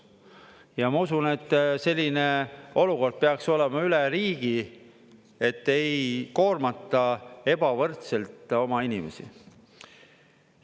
Ja ma usun, et selline olukord peaks olema üle riigi, et ei koormata ebavõrdselt oma inimesi.